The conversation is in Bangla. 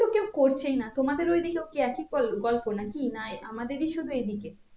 করছেই না তোমাদের ওই দিকেও কি একই গল গল্প না কি না আমাদেরই শুধু এই দিকে